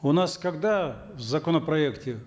у нас когда в законопроекте